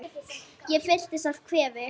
Ég fyllist af kvefi.